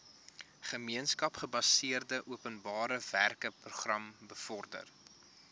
gemeenskapsgebaseerde openbarewerkeprogram bevorder